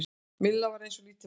Milla var eins og lítið barn.